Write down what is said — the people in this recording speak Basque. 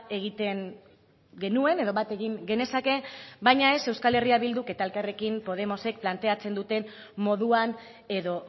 egiten genuen edo bat egin genezake baina ez euskal herria bilduk eta elkarrekin podemosek planteatzen duten moduan edo